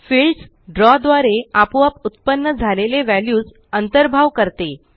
fields द्रव द्वारे आपोआप उत्पन्न झालेले व्हॅल्यूज अंतर्भाव करते